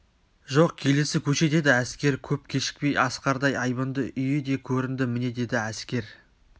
жоқ келесі көше деді әскер көп кешікпей асқардай айбынды үйі де көрінді міне деді әскер